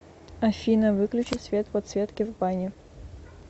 афина выключи свет подсветки в бане